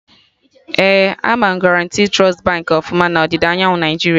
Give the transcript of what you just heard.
Ee, ama Guarantee Trust Baankị ọfụma na ọdịda anyanwụ Naijiria